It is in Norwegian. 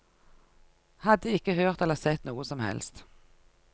Hadde ikke hørt eller sett noe som helst.